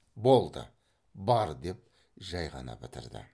болды бар деп жай ғана бітірді